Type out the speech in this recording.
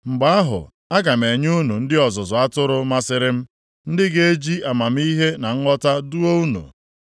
Mgbe ahụ, aga m enye unu ndị ọzụzụ atụrụ masịrị m, ndị ga-eji amamihe na nghọta duo unu.